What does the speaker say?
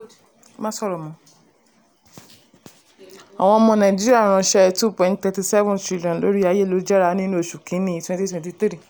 Má sọ̀rọ̀ mọ́ àwọn ọmọ nàìjíríà ránṣẹ́ẹ two point thirty seven trillion lórí ayélujára nínú oṣù kínní twenty twenty three.